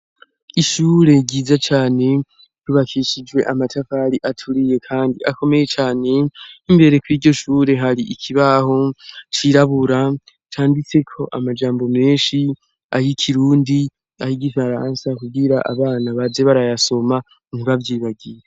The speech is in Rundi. Ishure ryiza cane rubakishijwe amatafari aturiye, kandi akomeye cane imbere ko'iryo shure hari ikibaho cirabura canditse ko amajambo menshi aho ikirundi ahigifaransa kuwira abana baze barayasoma ntibavyibagiye.